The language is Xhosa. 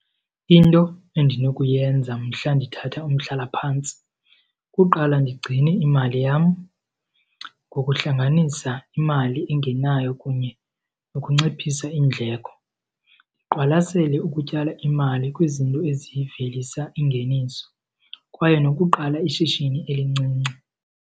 Into endinokuyenza mhla ndithatha umhlalaphantsi kuqala ndigcine imali yam ngokuhlanganisa imali engenayo kunye nokunciphisa iindleko. Ndiqwalasele ukutyala imali kwizinto ezivelisa ingeniso, kwaye nokuqala ishishini elincinci.